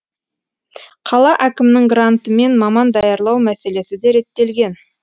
қала әкімінің грантымен маман даярлау мәселесі де реттелген